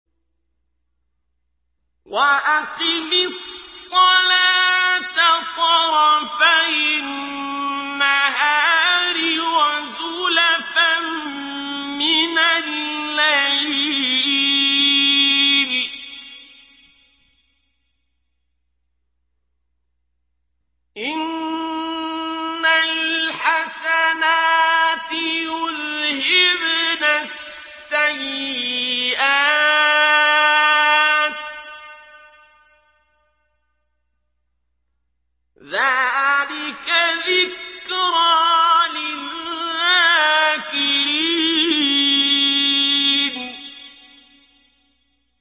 وَأَقِمِ الصَّلَاةَ طَرَفَيِ النَّهَارِ وَزُلَفًا مِّنَ اللَّيْلِ ۚ إِنَّ الْحَسَنَاتِ يُذْهِبْنَ السَّيِّئَاتِ ۚ ذَٰلِكَ ذِكْرَىٰ لِلذَّاكِرِينَ